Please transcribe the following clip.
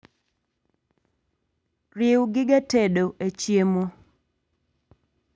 Riu gige tedo e chiemo